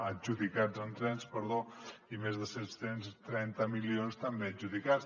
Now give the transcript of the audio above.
adjudicats en trens perdó i més de set cents i trenta milions també adjudicats